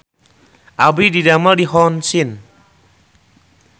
Abdi didamel di Hong Sin